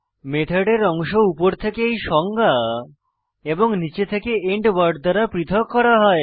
মেথডের অংশ উপর থেকে এই সংজ্ঞা এবং নীচে থেকে এন্ড ওয়ার্ড দ্বারা পৃথক করা হয়